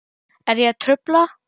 Er ég að trufla?